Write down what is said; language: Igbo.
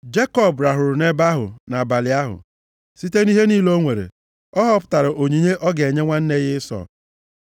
Jekọb rahụrụ nʼebe ahụ nʼabalị ahụ. Site nʼihe niile o nwere, ọ họpụtara onyinye ọ ga-enye nwanne ya Ịsọ.